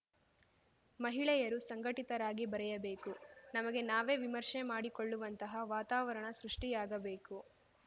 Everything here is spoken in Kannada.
ಮಹಿಳೆಯರು ಸಂಘಟಿತರಾಗಿ ಬರೆಯಬೇಕು ನಮಗೆ ನಾವೇ ವಿಮರ್ಶೆ ಮಾಡಿಕೊಳ್ಳುವಂತಹ ವಾತಾವರಣ ಸೃಷ್ಠಿಯಾಗಬೇಕು